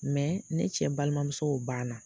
ne cɛ balimamuso o ban na.